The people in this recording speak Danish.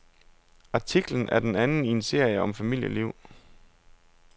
Artiklen er den anden i en serie om familieliv.